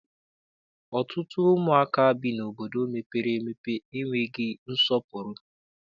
Ọtụtụ ụmụaka bi n'obodo mepere emepe enweghị nsọpụrụ.